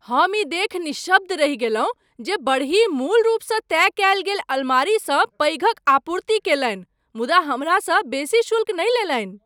हम ई देखि निःशब्द रहि गेलहुँ जे बड़ही मूल रूपसँ तय कयल गेल अलमारीसँ पैघक आपूर्ति कयलनि मुदा हमरासँ बेसी शुल्क नहि लेलनि।